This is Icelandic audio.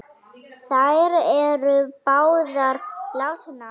Þær eru báðar látnar.